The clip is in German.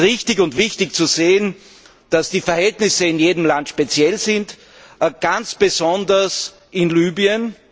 Es ist richtig und wichtig zu sehen, dass die Verhältnisse in jedem Land speziell sind, ganz besonders in Libyen.